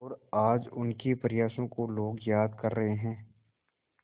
और आज उनके प्रयासों को लोग याद कर रहे हैं